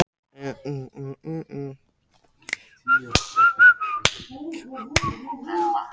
Líklega hafa íslensku listamennirnir sem koma til Flórens nokkur áhrif á næsta áfangastað ungu listakonunnar.